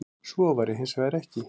Svo væri hins vegar ekki